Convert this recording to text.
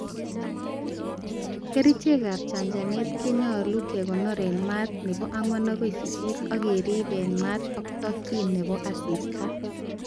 Kerichek ab chanchanet konyolu kekonor en maat nemiten4o-8o,ak kerib en maat ak tokyin nebo asista.